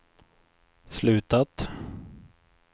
slutat